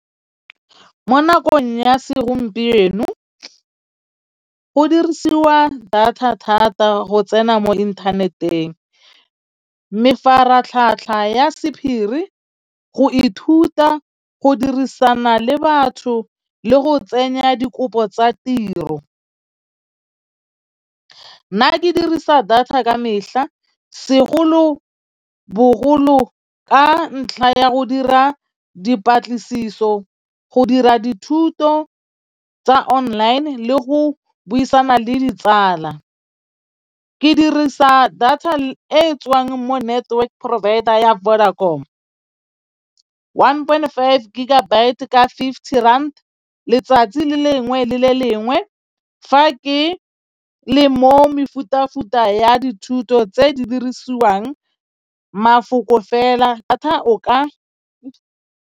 Mo nakong ya segompieno go dirisiwa data thata go tsena mo inthaneteng, mefaratlhatlha ya sephiri, go ithuta go dirisana le batho le go tsenya dikopo tsa tiro nna ke dirisa data ka metlha segolo bogolo ka ntlha ya go dira dipatlisiso, go dira dithuto tsa online le go buisana le ditsala. Ke dirisa data e tswang mo network provider ya Vodacom one point five gigabyte ka fifty rand letsatsi le lengwe le le lengwe fa ke le mo mefuta futa ya dithuto tse di dirisiwang mafoko fela o ka.